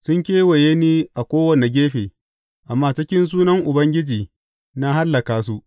Sun kewaye ni a kowane gefe, amma a cikin sunan Ubangiji na hallaka su.